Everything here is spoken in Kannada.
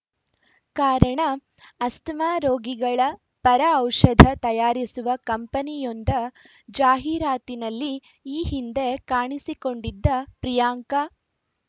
ಕಾರಣ ಅಸ್ತಮಾ ರೋಗಿಗಳ ಪರ ಔಷಧ ತಯಾರಿಸುವ ಕಂಪನಿಯೊಂದ ಜಾಹೀರಾತಿನಲ್ಲಿ ಈ ಹಿಂದೆ ಕಾಣಿಸಿಕೊಂಡಿದ್ದ ಪ್ರಿಯಾಂಕಾ